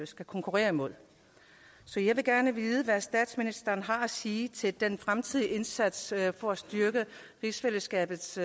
skal konkurrere med så jeg vil gerne vide hvad statsministeren har at sige til den fremtidige indsats for at styrke rigsfællesskabets